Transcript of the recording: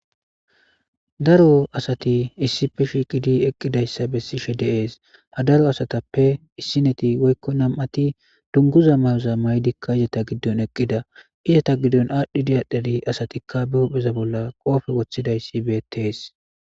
daro asati issipe shiiqidi eqqidayssa bessishi de'ees ha daro asatappe issineti woykko nam'ati dunguza mayoza maydikka izata giddon eqqida izata giddon aadhdhi adhidi asatikka be hupheza bolla qoofe woththidayssi beettees